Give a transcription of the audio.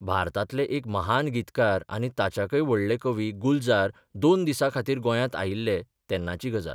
भारतांतले एक महान गीतकार आनी ताच्याकय व्हडले कवी गुलजार दोन दिसां खातीर गोंयांत आयिल्ले तेन्नाची गजाल.